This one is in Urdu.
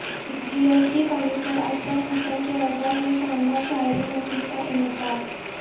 جی S T commissioner Aslam Hasan کے اعزاز میں شاندار شعری محفل کا انعقاد